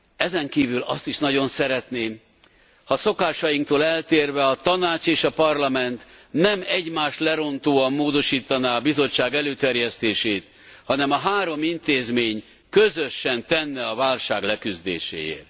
Ezenkívül azt is nagyon szeretném, ha a szokásainktól eltérve a Tanács és a Parlament nem egymást lerontóan módosítaná a Bizottság előterjesztését, hanem a három intézmény közösen tenne a válság leküzdéséért.